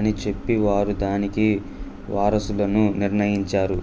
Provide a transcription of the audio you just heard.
అని చెప్పి వారు దానికి వారసులను నిర్ణయించారు